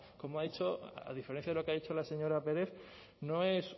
como ha dicho a diferencia de lo que ha dicho la señora pérez no es